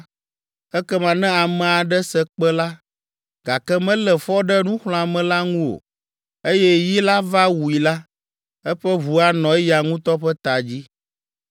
ekema ne ame aɖe se kpẽ la, gake melé fɔ ɖe nuxlɔ̃ame la ŋu o, eye yi la va wui la, eƒe ʋu anɔ eya ŋutɔ ƒe ta dzi.